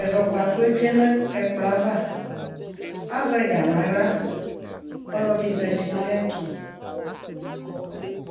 ɛzɔkpa kʋ yɛ tsue n'ɛkplɔ yɛ ava, azɛ ɛga n'aɣla Ɔlɔdi zati n'ayɛtʋ